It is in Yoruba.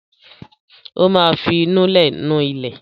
Ó máa fi ìnulẹ̀ nu ilẹ̀.